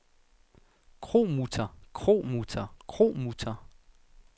kromutter kromutter kromutter